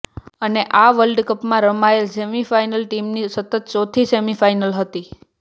અને આ વર્લ્ડ કપમાં રમાયેલ સેમિફાઇનલ ટીમની સતત ચોથી સેમિફાઇનલ હતી